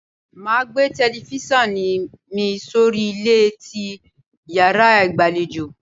Máa gbé telifíṣàn mi sórí ilẹ̀ ti yàrá ìgbàlejò.